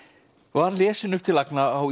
var lesin upp til agna á